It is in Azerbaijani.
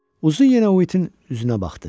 Uzun yenə Uitin üzünə baxdı.